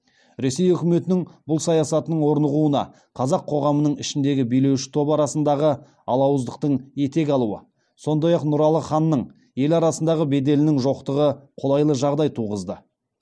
ресей үкіметінің бұл саясатының орнығуына қазақ коғамының ішіндегі билеуші топ арасындағы алауыздықтың етек алуы сондай ақ нұралы ханның ел арасында беделінің жоқтығы колайлы жағдай туғызды